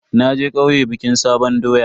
Naje kauye bikin sabon doya.